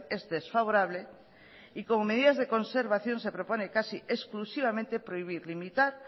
es desfavorable y como medidas de conservación se propone casi exclusivamente prohibir limitar